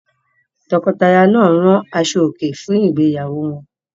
Tọkọtaya náà rán aṣọòkè fún ìgbéyàwó wọn?